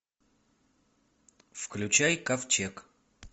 включай ковчег